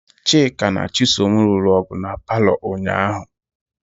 Chika na Chisom lụrụ ọgụ na paalọ ụnyaahụ ahụ.